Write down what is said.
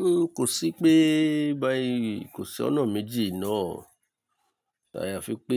N kò sí pé bá yí kò sí ọ̀nà méjì náà. Àyàfi pé